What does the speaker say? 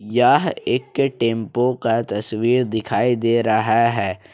यह एक टेंपो का तस्वीर दिखाई दे रहा है।